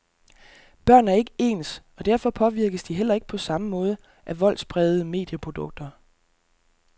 Børn er ikke ens, og derfor påvirkes de heller ikke på samme måde af voldsprægede medieprodukter.